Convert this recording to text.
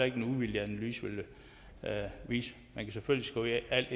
ikke en uvildig analyse ville vise man kan selvfølgelig skrive alt